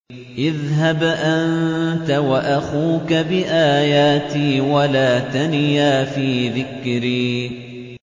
اذْهَبْ أَنتَ وَأَخُوكَ بِآيَاتِي وَلَا تَنِيَا فِي ذِكْرِي